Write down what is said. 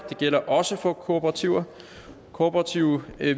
det gælder også for kooperativer kooperative